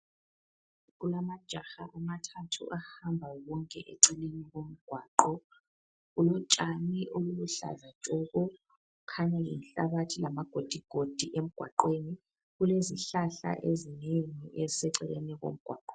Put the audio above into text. Kulamajaha amathathu ahamba wonke eceleni komgwaqo. Kulotshani obuluhlaza tshoko, kukhanya lenhlabathi lamagodigodi emgwaqweni. Kulezihlahla ezinengi eziseceleni komgwaqo.